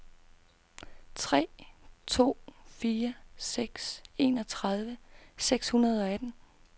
tre to fire seks enogtredive seks hundrede og atten